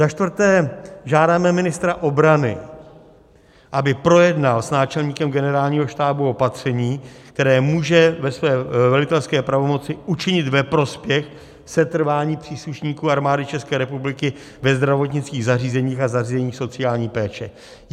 Za čtvrté, žádáme ministra obrany, aby projednal s náčelníkem Generálního štábu opatření, které může ve své velitelské pravomoci učinit ve prospěch setrvání příslušníků Armády České republiky ve zdravotnických zařízeních a zařízeních sociální péče.